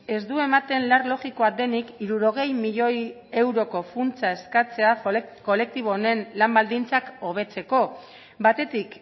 ez du ematen lar logikoa denik hirurogei milioi euroko funtsa eskatzea kolektibo honen lan baldintzak hobetzeko batetik